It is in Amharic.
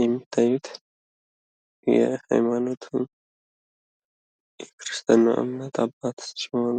የምታዩት የሃይማኖቱን የክርስትናው እምነት አባት ሲሆኑ።